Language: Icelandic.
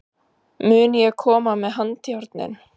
Mun ég koma með handjárnin?